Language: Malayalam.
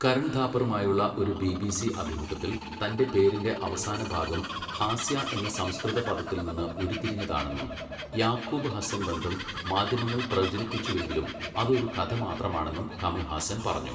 കരൺ ഥാപ്പറുമായുള്ള ഒരു ബിബിസി അഭിമുഖത്തിൽ, തൻ്റെ പേരിൻ്റെ അവസാനഭാഗം ഹാസ്യ എന്ന സംസ്കൃതപദത്തിൽനിന്ന് ഉരുത്തിരിഞ്ഞതാണെന്നും യാക്കൂബ് ഹസ്സൻബന്ധം മാധ്യമങ്ങൾ പ്രചരിപ്പിച്ചുവെങ്കിലും അത് ഒരു കഥ മാത്രമാണെന്നും കമൽ ഹാസൻ പറഞ്ഞു.